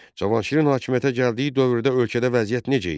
Cavanşirin hakimiyyətə gəldiyi dövrdə ölkədə vəziyyət necə idi?